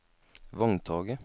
vogntoget